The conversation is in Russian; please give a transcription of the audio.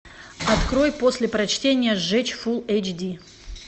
открой после прочтения сжечь фул эйч ди